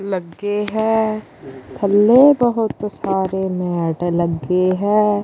ਲੱਗੇ ਹੈ ਥੱਲੇ ਬਹੁਤ ਸਾਰੇ ਮੈਟ ਲੱਗੇ ਹੈ।